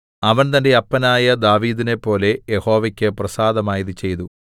അവൻ തന്റെ അപ്പനായ ദാവീദിനെപ്പോലെ യഹോവയ്ക്ക് പ്രസാദമായത് ചെയ്തു